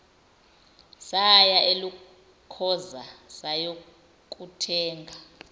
saya elokhoza sayokuthenga